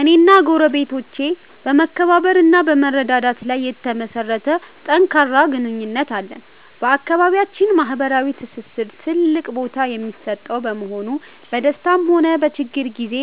እኔና ጎረቤቶቼ በመከባበር እና በመረዳዳት ላይ የተመሠረተ ጠንካራ ግንኙነት አለን። በአካባቢያችን ማኅበራዊ ትስስር ትልቅ ቦታ የሚሰጠው በመሆኑ፣ በደስታም ሆነ በችግር ጊዜ